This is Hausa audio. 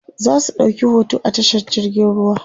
zasu ɗauki hoto a tashar jirgin ruwa